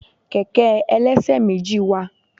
Kẹ̀kẹ́ ẹlẹ́ṣẹ̀méjì wa